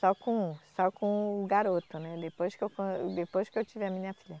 Só com um, só com o garoto, né, depois que eu con, depois que eu tive a minha filha.